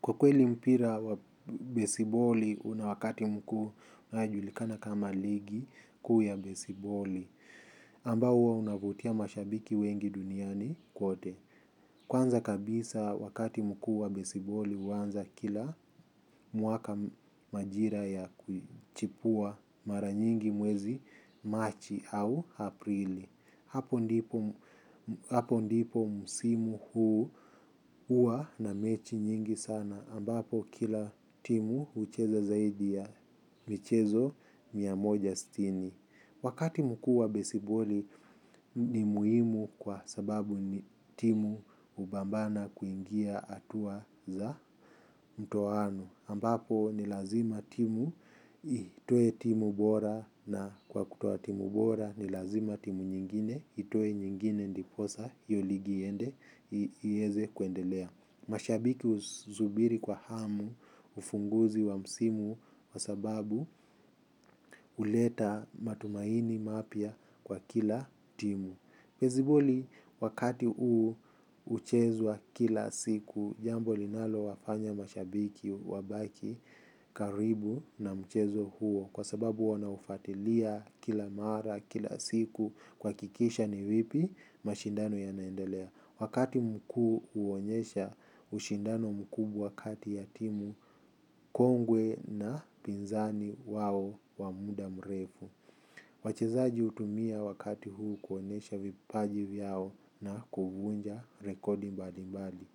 Kwa kweli mpira wa besiboli, una wakati mkuu unaojulikana kama ligi kuu ya besiboli, ambao huwa unavutia mashabiki wengi duniani kote. Kwanza kabisa, wakati mkuu wa besiboli huanza kila mwaka, majira ya kuchipua mara nyingi mwezi march au aprili. Hapo ndipo msimu huu huwa na mechi nyingi sana ambapo kila timu hucheza zaidi ya michezo mia moja sitini. Wakati mkuu wa besiboli ni muhimu kwa sababu timu hubambana kuingia hatua za ndoano, ambapo ni kazima timu itoe timu bora na kwa kutoa timu bora ni lazima nyingine itoe nyingine ndiposa hiyo ligi iweze kuendelea. Mashabiki husubiri kwa hamu, ufunguzi wa msimu, kwa sababu huleta matumaini mapya kwa kila timu. Besibuli wakati huu huchezwa kila siku, jambo linalo wafanya mashabiki wabaki karibu na mchezo huo. Kwa sababu wanaufatilia kila mara, kila siku, kuhakikisha ni vipi mashindano yanaendelea. Wakati mkuu huonyesha ushindano mkubwa kati ya timu kongwe na pinzani wao wa muda mrefu. Wachezaji hutumia wakati huu kuonesha vipaji vyao na kuvunja rekodi mbali mbali.